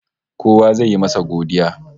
Kowa zai yi masa godiya